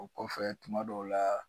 O kɔfɛ tuma dɔw la